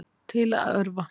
Til að örva